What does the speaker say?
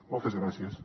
moltes gràcies